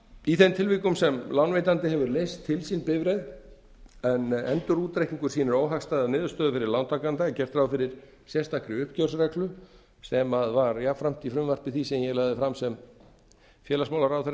í þeim tilvikum sem lánveitandi hefur leyst til sín bifreið en endurútreikningur sýnir óhagstæða niðurstöðu fyrir lántakanda er gert ráð fyrir sérstakri uppgjörsreglu sem var jafnframt í frumvarpi því sem ég lagði fram sem félagsmálaráðherra